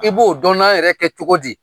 I b'o dɔnna yɛrɛ kɛ cogo di?